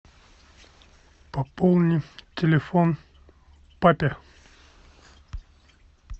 пополни телефон папе